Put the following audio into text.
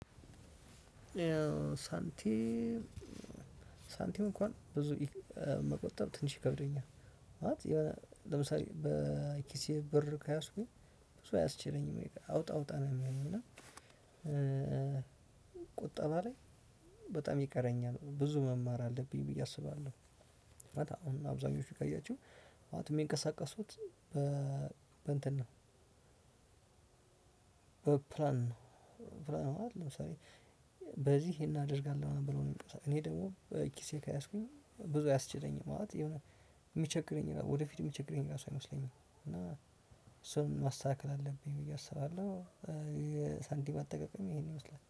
ሳንቲም ሳንቲም እንኳን ብዙ መቆጠብ ትንሽ ይከብደኛል። ማለት ለምሳሌ በኪሴ ብር ከያዝኩኝ ብዙ አያስችለኝም አውጣ አውጣ ነው የሚለኝ እና ቁጠባ ላይ በጣም ይቀረኛል። ብዙ መማር አለብኝ ብዬ አስባለሁ። አሁን አብዛኞቹ ካያችሁ ማለት ምንቀሳቀሱት በእንትን ነው። በፕላን ነው። ለምሳሌ በዚህ ይሄን አደርጋለሁ ብሎ እኔ ደግሞ ኪሴ ከያዝኩኝ ብዙ አያስችለኝም። ማለት የሆነ የሚቸግረኝ ወደፊት የሚቸግረኝ ራሱ አይመስለኝም። እና እሱን ማስተካከል አለብኝ ብዬ አስባለሁ የሳንቲም አጠቃቀም ይሄንን ይመስላል።